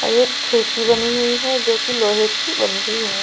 और एक खिड़की बनी हुई है जो कि लोहे की बनी हुई है।